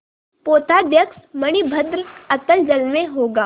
पोताध्यक्ष मणिभद्र अतल जल में होगा